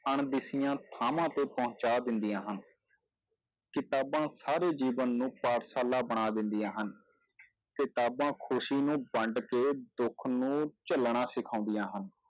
ਅਣਦਿਸੀਆਂ ਥਾਵਾਂ ਤੇ ਪਹੁੰਚਾ ਦਿੰਦੀਆਂ ਹਨ ਕਿਤਾਬਾਂ ਸਾਰੇ ਜੀਵਨ ਨੂੰ ਪਾਠਸ਼ਾਲਾ ਬਣਾ ਦਿੰਦੀਆਂ ਹਨ, ਕਿਤਾਬਾਂ ਖ਼ੁਸ਼ੀ ਨੂੰ ਵੰਡ ਕੇ ਦੁੱਖ ਨੂੰ ਝੱਲਣਾ ਸਿਖਾਉਂਦੀਆਂ ਹਨ,